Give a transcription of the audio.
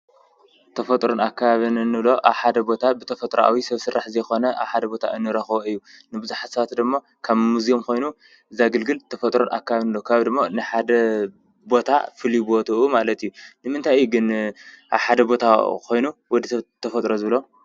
ተፈጥሮን ኣከባብን እንብሎ ሓደ ቦታ ብተፈጥሮኣዊ ሰብ ስራሕ ዘይኮነ ኣብ ሓደ ቦታ እንረኽቦ እዩ፡፡ ንብዙሓት ሰባት ድማ ከም ሙዜም ኮይኑ ዘገልግል ተፈጥሮን ኣከባብን ንብሎ፡፡ ከባቢ ድማ ንሓደ ቦታ ፍሉይ ቦትኡ ማለት እዩ፡፡ ንምንታይ እዩ ግን ኣብ ሓደ ቦታ ኮይኑ ወዲሰብ ተፈጥሮ ዝብሎ?